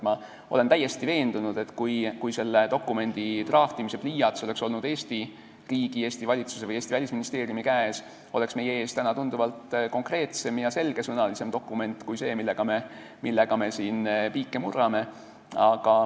Ma olen täiesti veendunud, et kui selle dokumendi n-ö draftimise pliiats oleks olnud Eesti riigi, Eesti valitsuse või Eesti Välisministeeriumi käes, siis oleks meie ees täna tunduvalt konkreetsem ja selgesõnalisem dokument kui see, mille kallal me siin piike murrame.